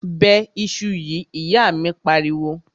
Bẹ iṣu yìí! ìyá míì pariwo.